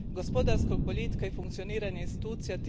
gospodarskog boljitka i funkcioniranja institucija.